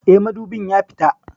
Eh, madubin ya fita